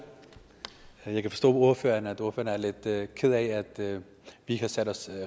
jeg kan forstå at ordføreren er lidt ked af at vi ikke har sat os